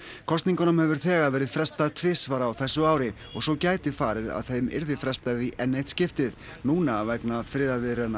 kosningunum hefur þegar verið frestað tvisvar á þessu ári og svo gæti farið að þeim yrði frestað í enn eitt skiptið núna vegna friðarviðræðna